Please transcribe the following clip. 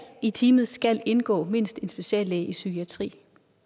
i teamet skal indgå mindst en speciallæge i psykiatri